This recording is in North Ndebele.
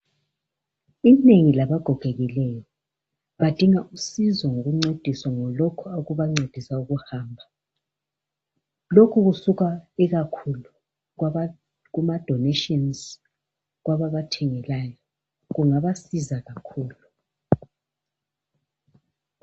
inengi labagogekileyo badinga usizo ngokuncediswa ngalokhu okubancedisa ukuhamba lokhu kusuka ikakhulu kuma donations kwababathengelayo kungabasiza kakhulu